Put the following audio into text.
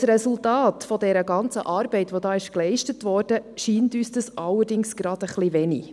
Als Resultat der ganzen geleisteten Arbeit, scheint uns dies allerdings ein bisschen wenig.